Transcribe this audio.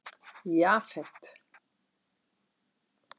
Jafet